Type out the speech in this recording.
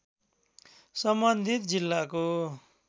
सम्बन्धित जिल्लाको